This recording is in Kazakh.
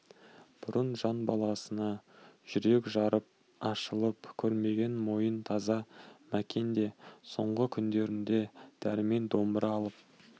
бұрын жан баласына жүрек жарып ашылып көрмеген момын таза мәкен де соңғы күндерде дәрмен домбыра алып